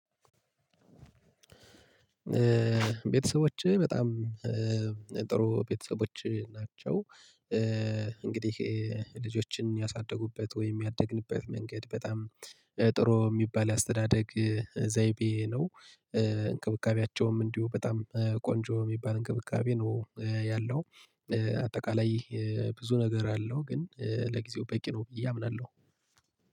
ቤተሰቦቼ በጣም ጥሩ ቤተሰቦች ናቸው። እንግዲህ ልጆችን ያሳደጉበት ወይም ያደግንበት መንገድ በጣም ጥሩ የሚባል አስተዳደግ ዘይቤ ነው። እንክብካቤያቸውም እንዲሁ በጣም ቆንጆ የሚባል እንክብካቤ ነው ያለው። አጠቃላይ ብዙ ነገር አለው ግን ለጊዜው በቂ ነው ብዬ አምናለሁ።